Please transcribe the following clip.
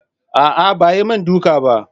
Aa ba ayi min duka bah.